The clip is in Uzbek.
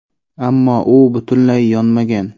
Ammo uy butunlay yonmagan.